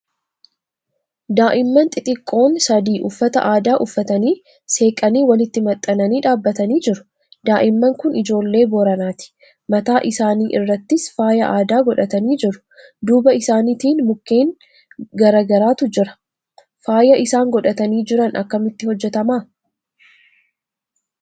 Daa'imman xixiqqoon sadii uffata aadaa uffatanii, seeqanii walitti maxxananii dhaabbatanii jiru. Daa'imman kun ijoollee Booranaati. Mataa isaanii irrattis faayaa aadaa godhatanii jiru. Duuba isaaniitiin mukkeen garaa garaatu jira. Faayaa isaan godhatanii jira akkamitti hojjetama?